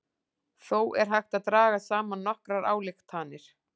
Þó er hægt að draga saman nokkrar ályktanir.